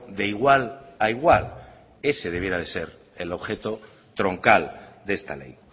de igual a igual ese debiera de ser el objeto troncal de esta ley